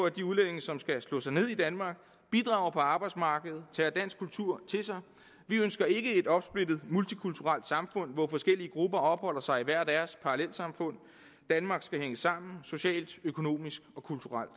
at de udlændinge som slår sig ned i danmark bidrager på arbejdsmarkedet tager dansk kultur til sig vi ønsker ikke et opsplittet multikulturelt samfund hvor forskellige grupper opholder sig i hver deres parallelsamfund danmark skal hænge sammen socialt økonomisk og kulturelt